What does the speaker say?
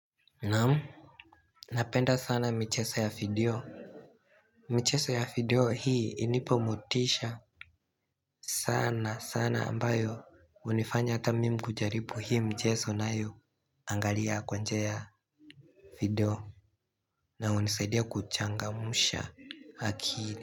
Naam. Napenda sana michezo ya video. Michezo ya video hii hunipa motisha sana sana ambayo hunifanya hata mimi kujaribu hii mchezo nayo angalia kwa njia ya video. Na hunisaidia kuchangamsha akili.